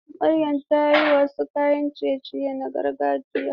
Maryam ta yi wasu kayan ciye-ciye na gargajiya.